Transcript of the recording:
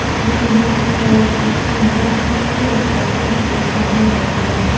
Lekin bu fuqaro O‘zbekiston Bosh prokuraturasiga holat yuzasidan murojaat qilgan.